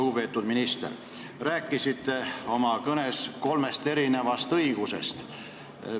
Lugupeetud minister, te rääkisite oma kõnes kolmest õigusest.